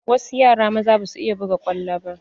Wasu yara maza ba su iya buga kwallo ba.